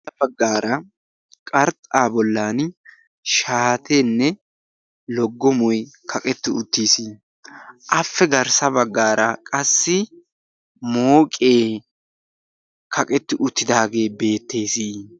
Ha baggaara qarxxa bollan shaatenne loggomoy kaqqeti uttiis. Afe garssa baggaara qassi mooqe kaqqetti uttidaahe beettees.